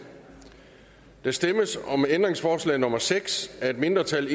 der stemmes om ændringsforslag nummer seks af et mindretal